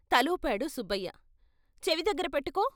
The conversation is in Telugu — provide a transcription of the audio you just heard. తలూపాడు సుబ్బయ్య "చెవి దగ్గర పెట్టకో.